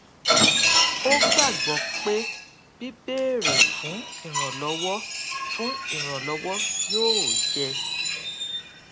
ó gbàgbó pé bíbéèrè fún ìrànlówó fún ìrànlówó yóò jẹ